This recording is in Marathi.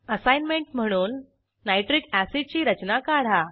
असाईनमेंट म्हणून नायट्रिक अॅसिड ची रचना काढा